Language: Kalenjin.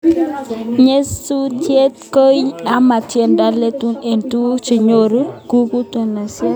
Nyasutik ki tiony ama tindoi lelut age tugul che kanyor kakutunosiek